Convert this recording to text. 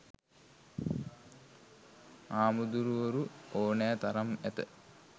හාමුදුරුවරු ඕනැ තරම් ඇත.